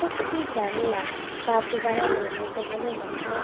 প্রত্যেকটি জানলা কাঁচ দ্বারা নির্মিত বলে মনে হ--